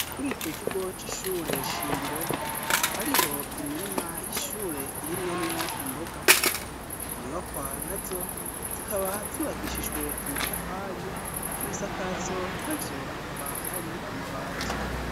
Kuri ico kigo c'ishure shingiro, hariho imirima y'ishure irimwe mwo imboga, inyubakwa nazo zikaba zubakishijwe amatafari ,ibisakazo navyo akaba ari amabati.